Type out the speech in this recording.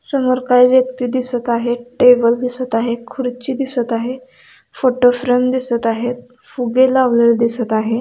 समोर काही व्यक्ति दिसत आहे टेबल दिसत आहे खुर्ची दिसत आहे फोटोफ्रेम दिसत आहे फुगे लावलेले दिसत आहे.